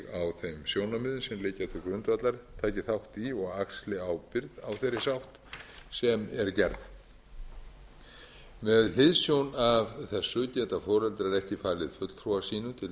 liggja til grundvallar taki þátt í og axli ábyrgð á þeirri sátt sem er gerð með hliðsjón af þessu geta foreldrar ekki falið fulltrúa sínum til